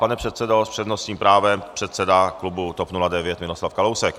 Pane předsedo - s přednostním právem předseda klubu TOP 09 Miroslav Kalousek.